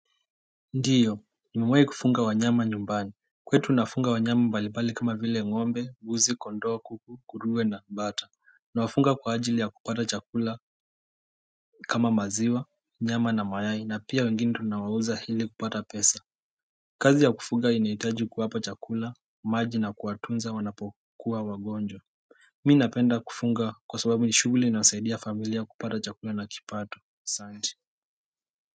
Ndiyo, nimewai kufunga wanyama nyumbani Kwetu nafunga wanyama mbalibali kama vile ngombe, mbuzi, kondoo, kuku, nguruwe na bata. Nawafunga kwa ajili ya kupata chakula kama maziwa, nyama na mayai na pia wengine tunawauza hili kupata pesa Kazi ya kufuga inaitaji kuwapa chakula, maji na kuwatunza wanapokuwa wagonjwa mi napenda kufunga kwa sababu ni shughuli inayosaidia familia kupata chakula na kipato asanti.